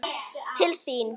Til þín?